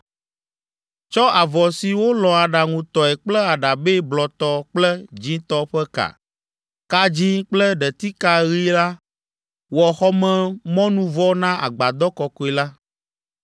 “Tsɔ avɔ si wolɔ̃ aɖaŋutɔe kple aɖabɛ blɔtɔ kple dzĩtɔ ƒe ka, ka dzĩ kple ɖetika ɣi la wɔ xɔmemɔnuvɔ na agbadɔ kɔkɔe la.